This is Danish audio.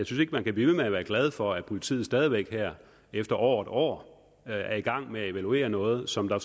synes ikke man kan blive ved med at være glad for at politiet stadig væk her efter over et år er i gang med at evaluere noget som der